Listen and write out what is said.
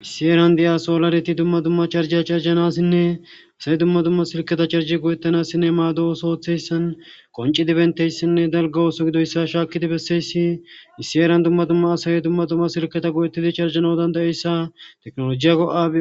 issi eran de7asolareti dumma dumma charjiy carjanassinne asay dumma dumma silketa carji goyettanassinne maado oso ooththeyssan qonci dibenteyssinne dalga ooso gidoyssa shaakidi besseyssi issi eran dumma dumma asay dumma dumma silketa goyettidi carjano dandayeyssa teknolojiyago7a